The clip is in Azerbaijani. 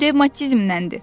Devmatizmdəndir.